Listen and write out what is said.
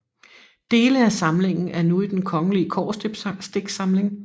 Dele af samlingen er nu i Den Kongelige Kobberstiksamling